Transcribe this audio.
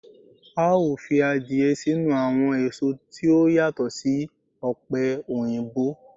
Ao fi adiye sinu awon eso ti o yato si ope oyinbo